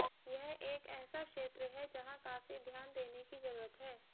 यह एक ऐसा क्षेत्र है जहां काफी ध्यान देने की जरूरत है